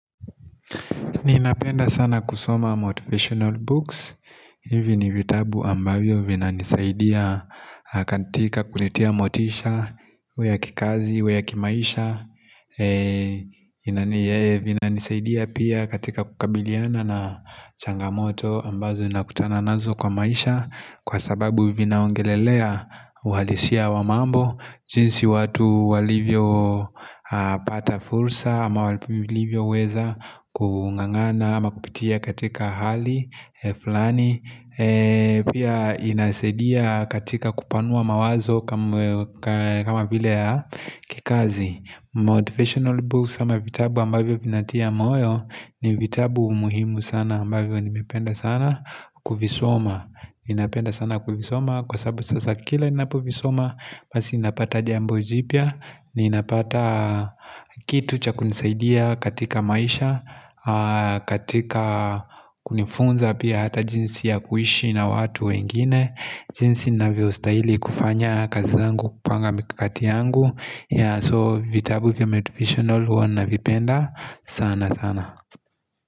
Ninapenda sana kusoma Motivational Books. Hivi ni vitabu ambavyo vinanisaidia katika kunitia motisha, iwe ya kikazi, iwe ya kimaisha. Inaniye vinanisaidia pia katika kukabiliana na changamoto ambazo nakutana nazo kwa maisha kwa sababu vinaongelelea uhalisia wa mambo. Jinsi watu walivyopata fursa ama walivyoweza kung'ang'ana ama kupitia katika hali fulani pia inasaidia katika kupanua mawazo kama vile ya kikazi Motivational books ama vitabu ambavyo vinatia moyo ni vitabu muhimu sana ambavyo nimependa sana kuvisoma Ninapenda sana kuvisoma Kwa sababu sasa kila ninapovisoma Basi ninapata jambo jipya Ninapata kitu cha kunisaidia katika maisha katika kunifunza pia hata jinsi ya kuishi na watu wengine jinsi ninavyo stahili kufanya kazi zangu kupanga mikakati yangu So vitabu vya motivational huwa navipenda sana sana.